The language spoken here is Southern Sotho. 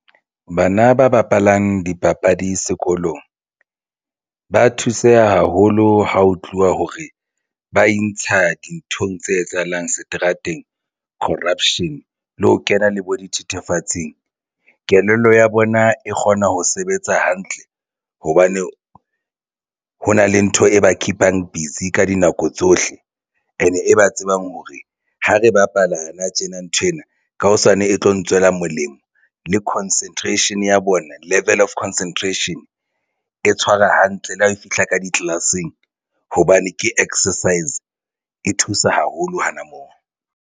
Bana ba bapalang dipapadi sekolong ba thuseha haholo ha ho tluwa hore ba intsha dinthong tse etsahalang seterateng corruption le ho kena le bo dithethefatsing. Kelello ya bona e kgona ho sebetsa hantle hobane ho na le ntho e ba keep-ang busy ka dinako tsohle and e ba tsebang hore ha re bapala nou tjena, nthwena ka sane e tlo ntswela molemo le concentration ya bona level of concentration. E tshwara hantle le ha e fihla ka di-class-eng hobane ke exercise e thusa haholo hana moo.